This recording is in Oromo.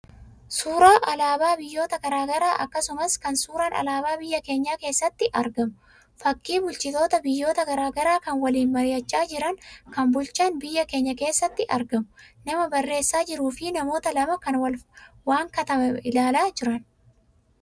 Suuraa alaabaa biyyoota garaagaraa akkasumas kan suuraan alaabaa biyya keenyaa keessatti argamu. Fakkii bulchitoota biyyoota garaagaraa kan waliin mari'achaa jiranii, kan bulchaan biyya keenyaa keessatti argamu, nama barreessaa jiruu fi namoota lama kan waan katabame ilaalaa jiran.